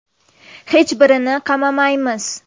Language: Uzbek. Hech birini qamamaymiz.